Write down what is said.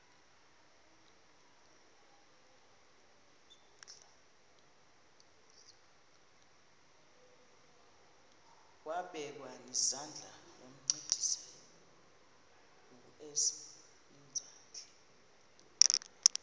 wabekwa nezandls wancedisa